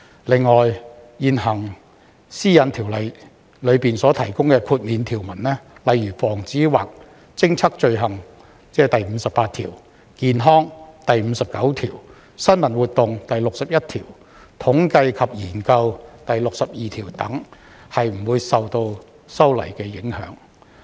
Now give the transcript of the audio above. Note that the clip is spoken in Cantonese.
此外，現行《個人資料條例》中所提供的豁免條文，例如防止或偵測罪行、健康、新聞活動、統計及研究等，均不會受修例影響。